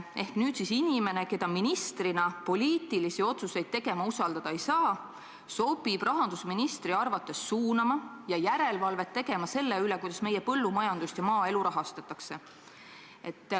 Ehk nüüd inimene, keda ministrina poliitilisi otsuseid tegema usaldada ei saa, sobib rahandusministri arvates suunama ja järelevalvet tegema selle üle, kuidas meie põllumajandust ja maaelu rahastatakse.